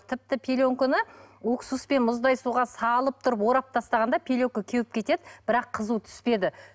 тіпті пеленканы уксуспен мұздай сумен суға салып тұрып орап тастағанда пеленка кеуіп кетеді бірақ қызу түспеді